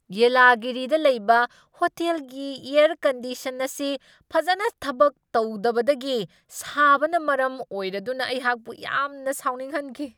ꯌꯦꯂꯥꯒꯤꯔꯤꯗ ꯂꯩꯕ ꯍꯣꯇꯦꯜꯒꯤ air condition ꯑꯁꯤ ꯐꯖꯅ ꯊꯕꯛ ꯇꯧꯗꯕꯗꯒꯤ ꯁꯥꯕꯅ ꯃꯔꯝ ꯑꯣꯏꯔꯗꯨꯅ ꯑꯩꯍꯥꯛꯄꯨ ꯌꯥꯝꯅ ꯁꯥꯎꯅꯤꯡꯍꯟꯈꯤ ꯫